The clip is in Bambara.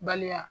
Bali